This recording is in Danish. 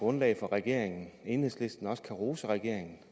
grundlag for regeringen enhedslisten også kan rose regeringen